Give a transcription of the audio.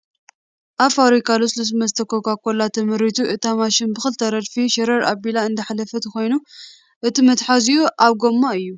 ኣብ ፋብሪካ ልስሉስ መስተ ኮኳኮላ ተመሪቱ እታ ማሽን ብኽልተ ረድፊ ሸረር ኣቢላ እነዳሕለፈቶን ኾይኑ እቱ መትሓዚጉ ኣብ ጎማ እዩ ።